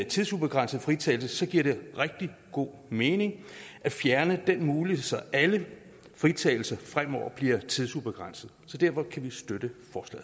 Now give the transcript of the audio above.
tidsubegrænset fritagelse giver det rigtig god mening at fjerne den mulighed så alle fritagelser fremover bliver tidsubegrænset derfor kan vi støtte